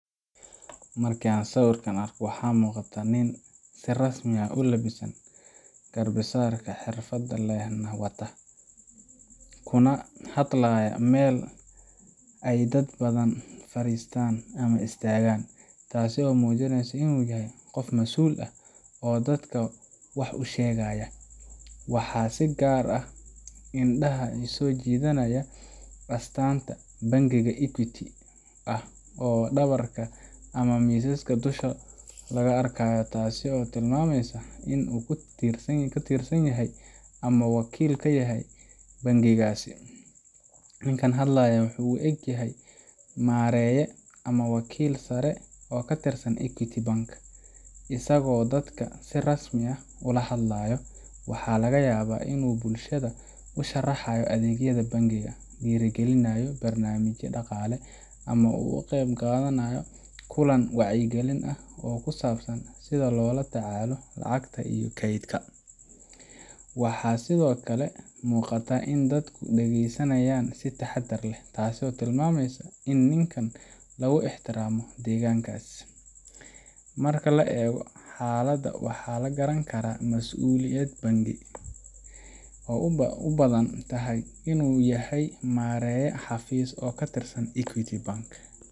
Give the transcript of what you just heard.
Markan sawirkan arko, waxa muqataa nin si rasmi ah ulabisan, garba sarka xirfad len wata, kuna hadlaya Mel ay dad badan faristaan ama istagaan taaso muujineysa inu yahay qof mas'ul eh oo dadka wax usheegaya, waxa si gaar ah indhaha isi jidanaya astanta bengiga equity ah oo dhabarka ama misasha dhulka laga arkayo ,taasi oo tilmameysa in u ķutirsan yahay ama wakil kayahay bengigaasi, ninkan hadlayo wuxuu u egyahay maareye ama wakil sare oo katirsan equity bank, asago dadka si rasmi ah ola hadlayo, waxa laga yaba inu bulshada usharaxasyo adeeggada bengiga, dhiiri gelinayo barnamijya dhaqale ama u kaqeb qadanayo kulan wacyi gelin ah oo kusabsan sida lola tacaalo lacagta iyo keydka, waxa sidokale muqataa in dadka dhageysanayan si taxadar leh taaso tilmameysa in ninkan lugu ixtiraamo deeggankas, marka eego xalada waxaa la garan karaa mas'ulayad bangi oo u badan inu yahay maareye xaafis oo katirsan equity bank